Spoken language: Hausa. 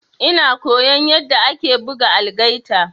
Ina koyan yanda ake buga algaita.